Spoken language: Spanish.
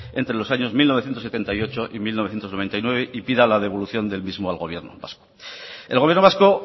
entre los años mil novecientos setenta y ocho y mil novecientos noventa y nueve y pida la devolución del mismo al gobierno vasco el gobierno vasco